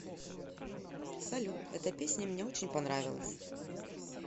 салют эта песня мне очень понравилась